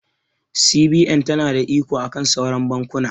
CBN ta na da iko akan sauran bankuna